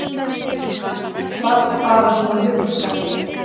Gunni VAR bara svona hugsari.